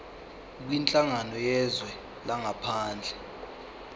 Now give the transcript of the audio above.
kwinhlangano yezwe langaphandle